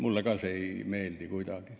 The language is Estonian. Mulle ka ei meeldi see kuidagi.